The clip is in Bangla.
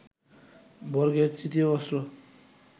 বর্গের তৃতীয় অস্ত্র